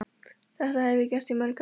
Þetta hef ég gert í mörg ár.